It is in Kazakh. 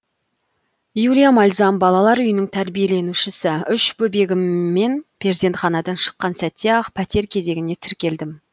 юлия мальзам балалар үйінің тәрбиеленушісі үш бөбегіммен перзентханадан шыққан сәтте ақ пәтер кезегіне тіркелдім